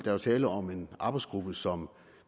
er jo tale om en arbejdsgruppe som